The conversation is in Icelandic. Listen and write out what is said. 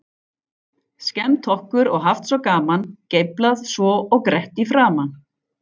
Skemmt okkur og haft svo gaman, geiflað svo og grett í framan.